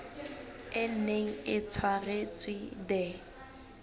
e neng e tshwaretswe the